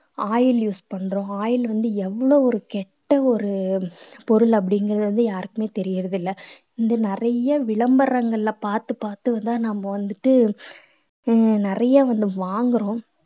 oil use பண்றோம் oil வந்து எவ்ளோ ஒரு கெட்ட ஒரு பொருள் அப்படிங்கிறது வந்து யாருக்குமே தெரியறது இல்ல இந்த நிறைய விளம்பரங்கள்ல பார்த்து பார்த்து நம்ம வந்துட்டு அஹ் நிறைய வந்து வாங்குறோம்